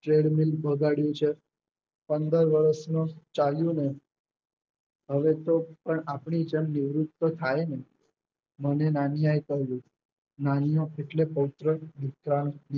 ચેડમીન બગાડ્યું છે. પંદર વર્ષનો ચાલ્યું ને હવે તો પણ આપણી જેમ નિવૃત તો થાય જ ને મને નાનિયાએ કહ્યું નાનીયો એટલે પોવત્ર